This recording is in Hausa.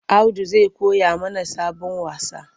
Audu zai koya mana sabon wasa.